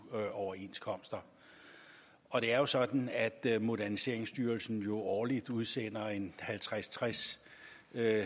overenskomster og det er jo sådan at moderniseringsstyrelsen årligt udsender halvtreds til tres